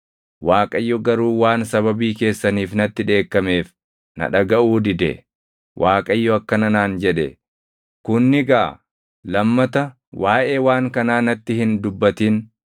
Waaqayyo garuu waan sababii keessaniif natti dheekkameef, na dhagaʼuu dide. Waaqayyo akkana naan jedhe; “Kun ni gaʼa; lammata waaʼee waan kanaa natti hin dubbatin.